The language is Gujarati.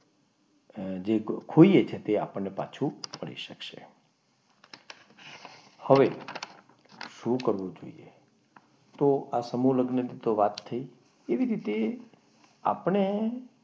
જે ખોઈએ છીએ તે તે આપણને પાછું મળી શકશે હવે શું કરવું જોઈએ તો આ સમૂહ લગ્નની વાત થઈ કેવી રીતે આપણે,